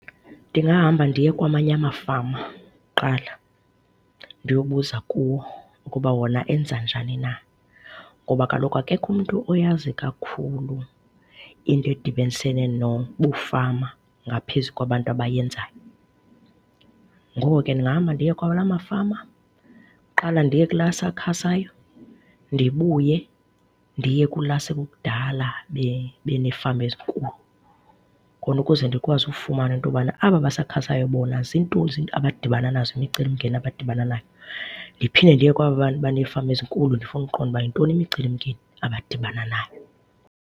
Ndingahamba ndiye kwamanye amafama kuqala ndiyobuza kuwo ukuba wona enza njani na. Ngoba kaloku akekho umntu oyazi kakhulu into edibanisene nobufama ngaphezu kwabantu abayenzayo. Ngoko ke ndingahamba ndiye kulawa mafama, kuqala ndiye kula asakhasayo ndibuye ndiye kula sekukudala beneefama ezinkulu. Khona ukuze ndikwazi ukufumana into yobana, aba basakhasayo bona ziintoni abadibana nazo, imicelimngeni abadibana nayo. Ndiphinde ndiye kwaba baneefama ezinkulu ndifune ukuqonda yintoni imicelimngeni abadibana nayo.